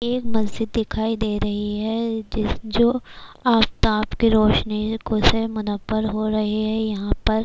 ایک مسجد دکھائی دے رہی ہے جو افتاب کی روشنی سے منور ہو رہی ہے یہاں پر -